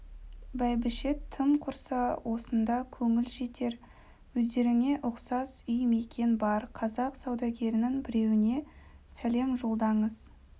бәйбіше тым құрса осында көңіл жетер өздеріңе ұқсас үй мекен бар қазақ саудагерінің біреуіне сәлем жолдаңыз